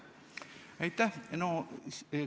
Aitäh!